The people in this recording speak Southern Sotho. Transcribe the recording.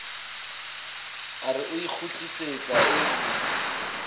a re o ikgutlisetsa o